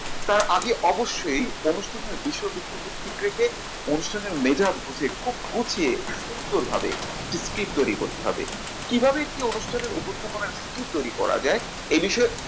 তার আগে অবশ্যই অনুষ্ঠানের বিষয়বস্তুকে ঠিক রেখে অনুষ্ঠানে মেজাজ বুঝে খুব গুছিয়ে সুন্দরভাবে একটি script তৈরি করতে হবে। কিভাবে একটি অনুষ্ঠানের উপস্থাপনা কি তৈরি করা যায়। এ বিষয়ে